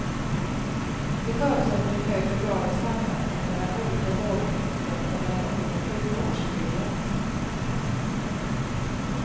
Det förutsätter en större grad av samverkan mellan olika vårdenheter och mellan olika sjukvårdshuvudmän.